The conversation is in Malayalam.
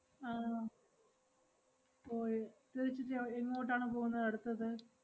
ആഹ് ഓ ഏർ തിരിച്ച് ചെ~ എങ്ങോട്ടാണ്പോ വുന്നത് അടുത്തത്?